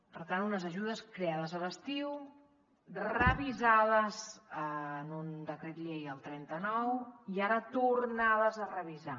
per tant unes ajudes creades a l’estiu revisades en un decret llei el trenta nou i ara tornades a revisar